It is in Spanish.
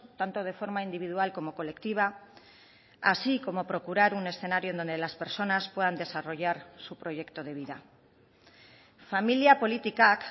tanto de forma individual como colectiva así como procurar un escenario donde las personas puedan desarrollar su proyecto de vida familia politikak